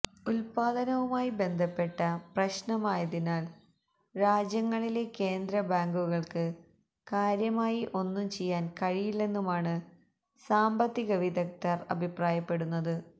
ഉത്പാദനവുമായി ബന്ധപ്പെട്ട പ്രശ്നമായതിനാല് രാജ്യങ്ങളിലെ കേന്ദ്ര ബാങ്കുകള്ക്ക് കാര്യമായി ഒന്നും ചെയ്യാന് കഴിയില്ലെന്നുമാണ് സാ്മ്പത്തിക വിദഗ്ദര് അഭിപ്രായപ്പെടുന്നത്